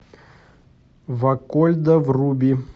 вакольда вруби